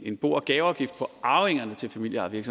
en bo og gaveafgift for arvingerne til familieejede